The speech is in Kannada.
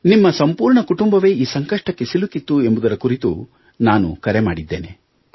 ನಿಮ್ಮ ಸಂಪೂರ್ಣ ಕುಟುಂಬವೇ ಈ ಸಂಕಷ್ಟಕ್ಕೆ ಸಿಲುಕಿತ್ತು ಎಂಬುದರ ಕುರಿತು ನಾನು ಕರೆ ಮಾಡಿದ್ದೇನೆ